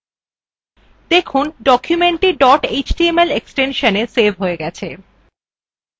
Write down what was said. দেখুন documentthe dot html extension দিয়ে save হয়ে গেছে